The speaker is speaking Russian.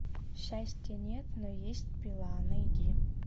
счастья нет но есть пила найди